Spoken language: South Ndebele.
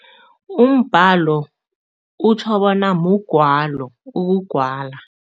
Umbhalo utjho bona mugwalo, ukugwala.